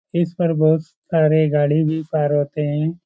इस पर बहुत सारे गाड़ी भी पार होते हैं।